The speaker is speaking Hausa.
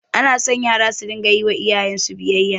Anaso yara su dinga yiwa iyayensu biyayya